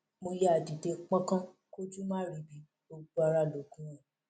mo yáa dìde pọnkan kójú má ríbi gbogbo ara lóògùn ẹ